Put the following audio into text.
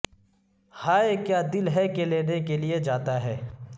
ہائے کیا دل ہے کہ لینے کے لئے جاتا ہے